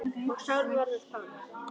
Og Sál varð að Páli.